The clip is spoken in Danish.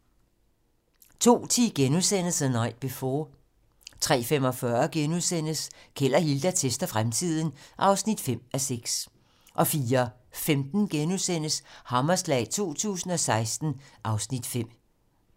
02:10: The Night Before * 03:45: Keld og Hilda tester fremtiden (5:6)* 04:15: Hammerslag 2016 (Afs. 5)*